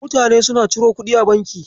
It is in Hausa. Mutane suna ciro kuɗi a banki.